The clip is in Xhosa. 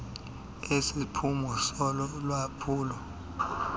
lesiphumo solo lwaphulo